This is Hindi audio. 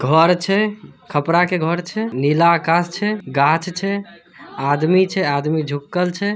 घर छे खपरा के घर छे। नीला आकाश छे। गाछ छे। आदमी छे आदमी झुकल छे।